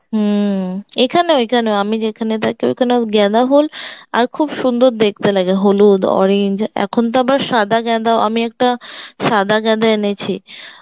হম এইখানে এইখানেও আমি যেখানে থাকি ঐখানেও গাঁদা ফুল, আর খুব সুন্দর দেখতে লাগে, হলুদ, orange এখন তো আবার সাদা গাঁদা ও আমি তো একটা সাদা গাঁদা এনেছি